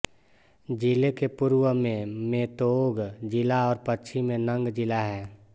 ज़िले के पूर्व में मेतोग ज़िला और पश्चिम में नंग ज़िला है